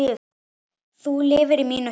Þú lifir í mínu hjarta.